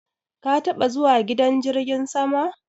Ka taba zuwa gidan jirgin sama?